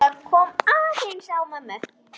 Það kom aðeins á mömmu.